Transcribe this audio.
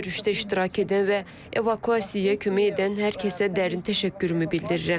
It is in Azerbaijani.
Görüşdə iştirak edən və evakuasiyaya kömək edən hər kəsə dərin təşəkkürümü bildirirəm.